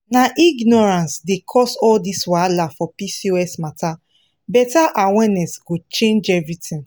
na ignorance dey cause all this wahala for pcos matter better awareness go change everything.